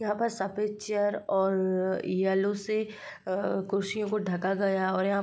यहाँ पर सफेद चेयर और अ येलो से अ कुर्सियों को ढका गया और यहाँ --